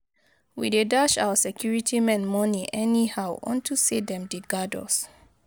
We dey dash our security men money anyhow unto say dem dey guard us